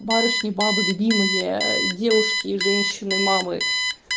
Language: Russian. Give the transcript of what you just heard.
барышни бабы любимые девушки и женщины мамы